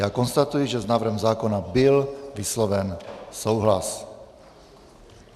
Já konstatuji, že s návrhem zákona byl vysloven souhlas.